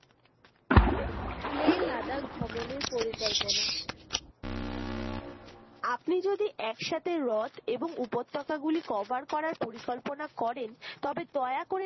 লে লাদাখ ভ্রমণের পরিকল্পনা আপনি যদি একসাথে রথ এবং উপত্যকা গুলি cover করার পরিকল্পনা করেন তবে দয়া করে